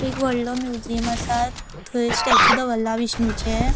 एक वडलों म्युजियम असा थय स्टेच्यू दवरला विष्णूचे.